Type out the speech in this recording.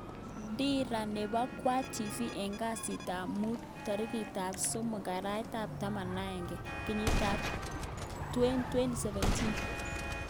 Dira nepo kwang tv eng kasit ap mut 03/11/2017